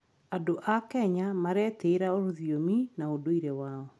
Andũ a Kenya maretĩĩra rũthiomi na ũndũire wao.